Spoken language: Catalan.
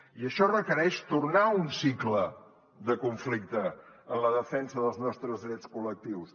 i això requereix tornar a un cicle de conflicte en la defensa dels nostres drets col·lectius